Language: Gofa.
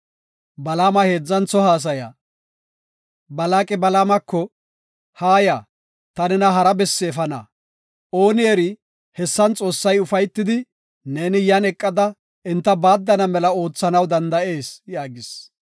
Balaaqi Balaamako, “Haaya; ta nena hara bessi efana. Ooni eri, hessan Xoossay ufaytidi, neeni yan eqada enta baaddana mela oothanaw danda7ees” yaagis.